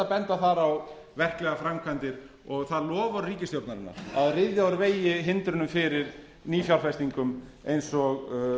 benda þar á verklegar framkvæmdir og það loforð ríkisstjórnarinnar að ryðja úr vegi hindrunum fyrir nýfjárfestingum eins og